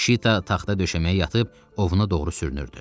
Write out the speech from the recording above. Şita taxta döşəməyə yatıb ovuna doğru sürünürdü.